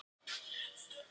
Það verður það sama áfram.